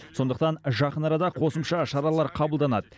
сондықтан жақын арада қосымша шаралар қабылданады